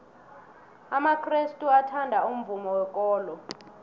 amakrestu athanda umvumo wekolo